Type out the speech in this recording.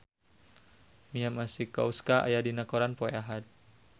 Mia Masikowska aya dina koran poe Ahad